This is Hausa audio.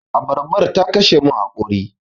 Abarban ta kashe mun haƙori.